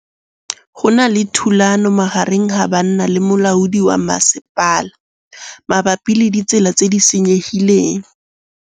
Go na le thulanô magareng ga banna le molaodi wa masepala mabapi le ditsela tse di senyegileng.